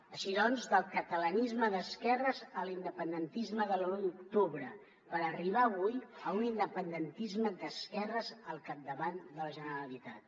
així doncs del catalanisme d’esquerres a l’independentisme de l’u d’octubre per arribar avui a un independentisme d’esquerres al capdavant de la generalitat